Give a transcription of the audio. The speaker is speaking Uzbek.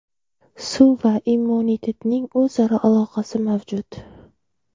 Suv va immunitetning o‘zaro aloqasi mavjud.